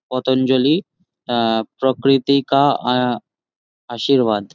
পতঞ্জলি আহ প্রকৃতিকা আ- আশীর্বাদ।